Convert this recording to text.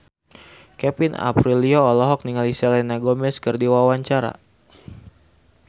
Kevin Aprilio olohok ningali Selena Gomez keur diwawancara